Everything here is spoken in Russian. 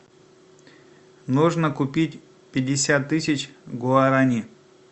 нужно купить пятьдесят тысяч гуарани